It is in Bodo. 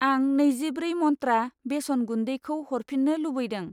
आं नैजिब्रै मन्त्रा बेसन गुन्दैखौ हरफिन्नो लुबैदों